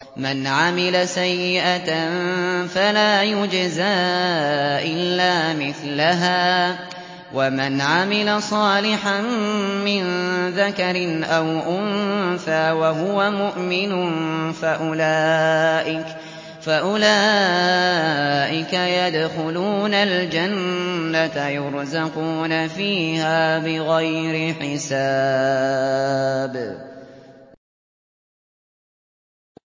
مَنْ عَمِلَ سَيِّئَةً فَلَا يُجْزَىٰ إِلَّا مِثْلَهَا ۖ وَمَنْ عَمِلَ صَالِحًا مِّن ذَكَرٍ أَوْ أُنثَىٰ وَهُوَ مُؤْمِنٌ فَأُولَٰئِكَ يَدْخُلُونَ الْجَنَّةَ يُرْزَقُونَ فِيهَا بِغَيْرِ حِسَابٍ